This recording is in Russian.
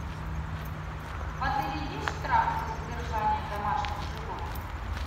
в отеле есть штраф за содержание домашних животных